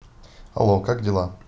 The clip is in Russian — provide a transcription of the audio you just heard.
алло как дела